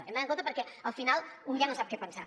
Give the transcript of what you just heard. hem d’anar en compte perquè al final un ja no sap què pensar